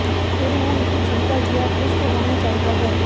ਫਿਰ ਉਹ ਇੱਕ ਛੋਟਾ ਜਿਹਾ ਖੁਸ਼ਕ ਹੋਣਾ ਚਾਹੀਦਾ ਹੈ